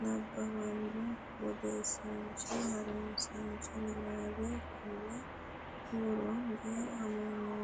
nabbawanna’ne wodanchitinanni ha’runse Niwaawe Konni woroonni “Amanyoote.